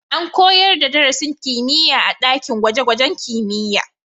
An koyar da darasin kimiyya a ɗakin gwaje-gwajen kimiyya